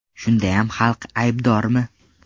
Shundayam xalq aybdormi?